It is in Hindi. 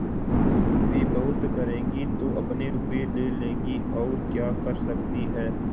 वे बहुत करेंगी तो अपने रुपये ले लेंगी और क्या कर सकती हैं